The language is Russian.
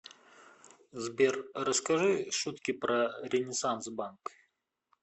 сбер расскажи шутки про ренессанс банк